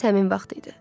Məhz həmin vaxt idi.